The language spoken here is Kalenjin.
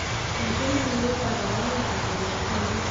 Eng' emoni ko karogenetap walet ko ainon